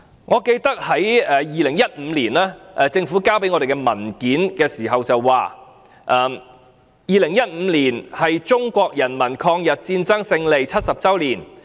我記得政府在2015年提交的文件中表示 ，"2015 年是中國人民抗日戰爭勝利70周年。